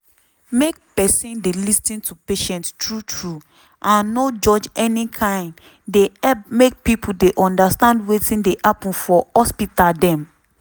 make peson dey lis ten to patient true true and no judge any kain dey help make pipo dey undastand wetin dey happen for hospital dem.